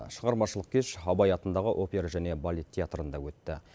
шығармашылық кеш абай атындағы опера және балет театрында өтті